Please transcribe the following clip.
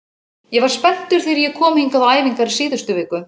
Ég var spenntur þegar ég kom hingað á æfingar í síðustu viku.